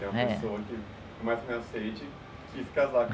É a pessoa que mais me aceite, que ia se casar.